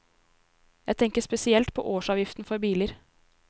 Jeg tenker spesielt på årsavgiften på biler.